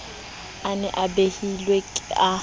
a ne a betilwe a